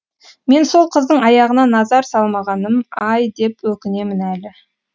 мен сол қыздың аяғына назар салмағаным ай деп өкінемін әлі